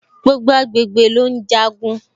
Gbogbo agbègbè ló ùn jagun